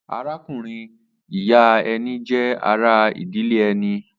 Arákùnrin-ìyá ẹni jẹ́ ara ìdílé ẹni.